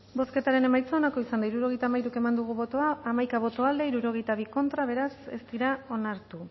bozketaren emaitza onako izan da hirurogeita hamairu eman dugu bozka hamaika boto aldekoa sesenta y dos contra beraz ez dira onartu